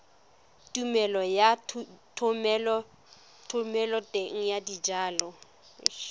tumelelo ya thomeloteng ya dijalo